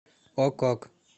ок ок